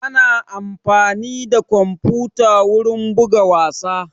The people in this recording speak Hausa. Ana amfani da kwamfuta wurin buga wasa